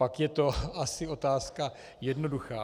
Pak je to asi otázka jednoduchá.